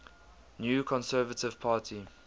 new conservative party